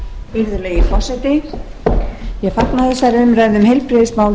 virðulegi forseti ég fagna þessari umræðu um heilbrigðismál